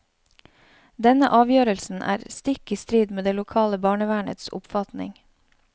Denne avgjørelsen er stikk i strid med det lokale barnevernets oppfatning.